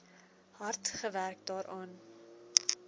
hard gewerk daaraan